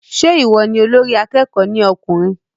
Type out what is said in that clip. Se ìwọ ni olórí akẹ́kọ̀ọ́ ní ọkùnrin?